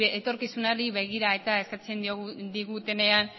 etorkizunari begira eta eskatzen digutenean